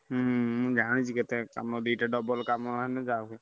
ହୁଁ ମୁଁ ଜାଣିଛି କେତେ double କାମ ଯାଓ।